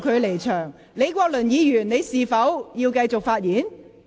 李國麟議員，你是否想發言？